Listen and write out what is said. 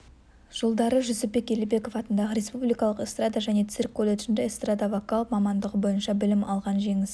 жылдары жүсіпбек елебеков атындағы республикалық эстрада және цирк колледжінде эстрадавокал мамандығы бойынша білім алған жеңіс